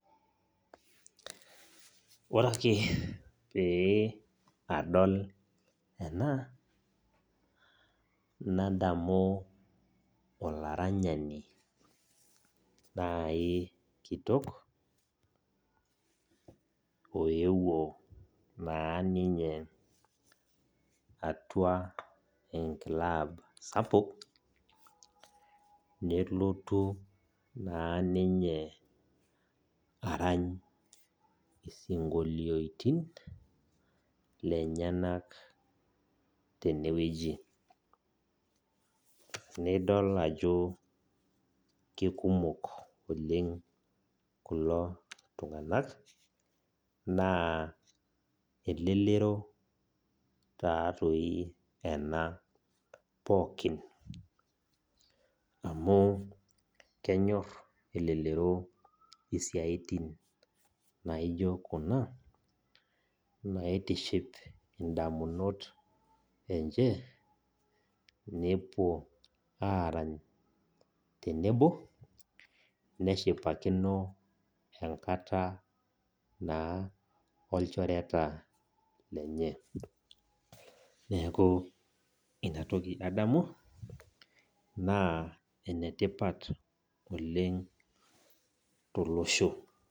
Ore ake pee adol ena, nadamu olaranyani nai kitok, oewuo naa ninye atua enklab sapuk, nelotu naa ninye arany isinkolioitin, lenyanak tenewueji. Nidol ajo kekumok oleng kulo tung'anak, naa elelero tatoi ena pookin. Amu kenyor elelero isiaitin naijo kuna, naitiship indamunot enche, nepuo arany tenebo, neshipakino enkata naa olchoreta lenye. Neeku inatoki adamu, naa enetipat oleng tolosho.